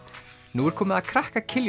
nú er komið að krakka